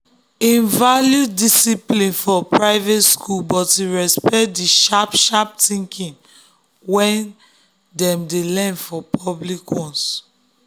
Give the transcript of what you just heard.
him value discipline for private schools but him respect the sharp-sharp thinking wey dem learn for public ones.